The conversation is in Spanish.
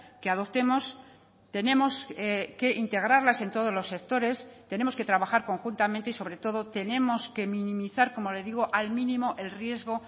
que adoptemos tenemos que integrarlas en todos los sectores tenemos que trabajar conjuntamente y sobre todo tenemos que minimizar como le digo al mínimo el riesgo